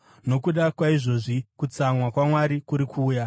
Nokuda kwaizvozvi, kutsamwa kwaMwari kuri kuuya.